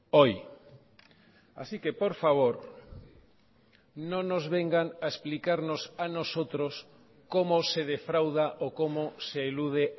hoy así que por favor no nos vengan a explicarnos a nosotros cómo se defrauda o cómo se elude